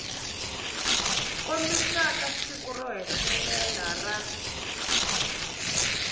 kombisaka siku ro hetelela ra